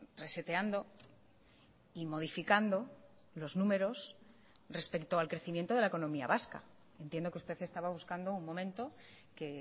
reseteando y modificando los números respecto al crecimiento de la economía vasca entiendo que usted estaba buscando un momento que